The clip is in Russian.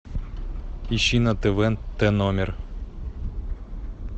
ищи на тв тномер